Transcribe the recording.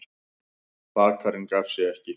Bakarinn gaf sig ekki.